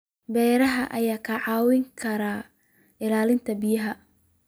Beeraha ayaa kaa caawin kara ilaalinta biyaha.